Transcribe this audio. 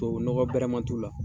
Tubabu nɔgɔ bɛrɛ ma t'u la.